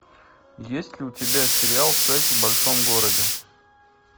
есть ли у тебя сериал секс в большом городе